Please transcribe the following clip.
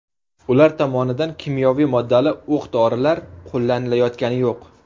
Ular tomonidan kimyoviy moddali o‘q-dorilar qo‘llanilayotgani yo‘q.